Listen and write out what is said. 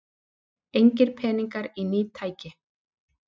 Engir peningar í ný tæki